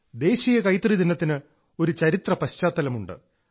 ദേശീയ കൈത്തറി ദിനത്തിന് ഒരു ചരിത്രപശ്ചാത്തലമുണ്ട്